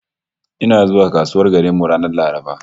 Ina zuwa kasuwar garin mu ranar Laraba